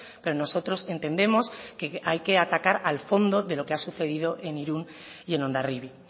pero nosotros entendemos que hay que atacar al fondo de lo que ha sucedido en irún y en hondarribia